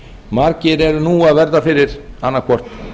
margir eru nú að verða fyrir annaðhvort